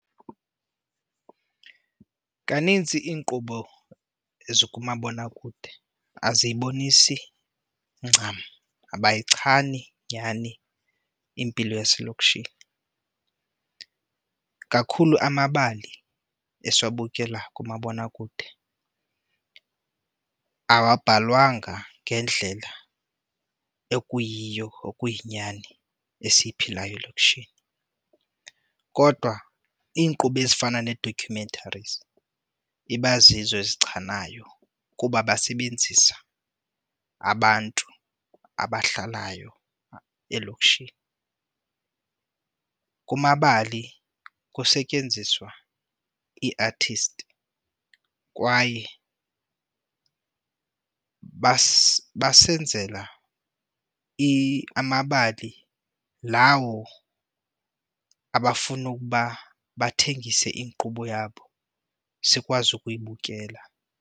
Kanintsi iinkqubo ezikumabonakude aziyibonisi ncam, abayichani nyhani impilo yaselokishini. Kakhulu amabali esiwabukela kumabonakude awabhalwanga ngendlela ekuyiyo, okuyinyani, esiyiphilayo elokishini. Kodwa iinkqubo ezifana nee-documentaries iba zizo ezichanayo kuba basebenzisa abantu abahlalayo elokishini. Kumabali kusetyenziswa ii-artist kwaye basenzela amabali lawo abafuna ukuba bathengise inkqubo yabo sikwazi ukuyibukela.